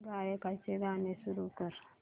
गायकाचे गाणे सुरू कर